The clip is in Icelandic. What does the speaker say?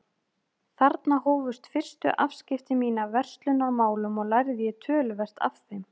Þarna hófust fyrstu afskipti mín af verslunarmálum og lærði ég töluvert af þeim.